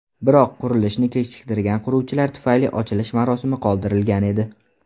Biroq qurilishni kechiktirgan quruvchilar tufayli ochilish marosimi qoldirilgan edi.